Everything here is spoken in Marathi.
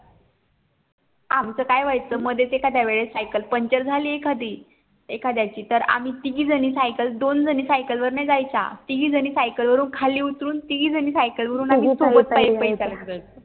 आमच काय व्हायचं मध्येच एखाद्या वेळेस सायकल पंचर झाली एखादी एखाद्याची तर आम्ही तिघी जणी सायकल दोन जणी सायकली वर नाही जायच्या तिघी जणी सायकली व्वरून खाली उतरून तिघी जणी सायकल वरून आम्ही सोबत पायी पायी चालत जायचो